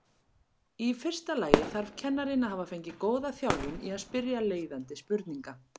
Í fyrsta lagi þarf kennarinn að hafa fengið góða þjálfun í að spyrja leiðandi spurninga.